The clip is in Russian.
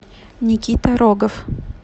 никита рогов